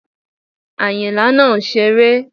Àyìnlá náà ń ṣére